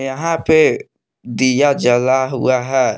यहां पे दिया जला हुआ है।